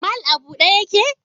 mall a bude yake?